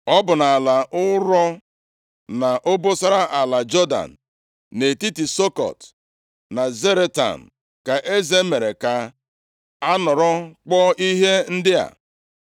Ọ bụ nʼala ụrọ, nʼobosara ala Jọdan, nʼetiti Sukọt na Zaretan ka eze mere ka a nọrọ kpụọ ihe ndị a.